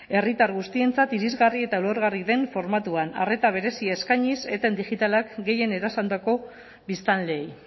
herritar guztientzat irisgarri eta ulergarri den formatuan arreta berezia eskainiz eten digitalak gehien erasandako biztanleei